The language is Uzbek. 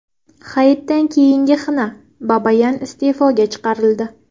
Hayitdan keyingi xina: Babayan iste’foga chiqarildi .